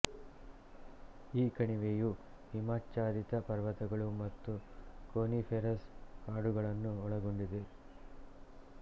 ಈ ಕಣಿವೆಯು ಹಿಮಾಚ್ಛಾದಿತ ಪರ್ವತಗಳು ಮತ್ತು ಕೋನಿಫೆರಸ್ ಕಾಡುಗಳನ್ನು ಒಳಗೊಂಡಿದೆ